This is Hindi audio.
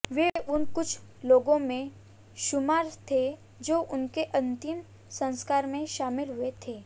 वे उन कुछ लोगों में शुमार थे जो उसके अंतिम संस्कार में शामिल हुए थे